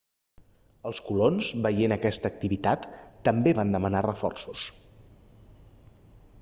els colons veient aquesta activitat també van demanar reforços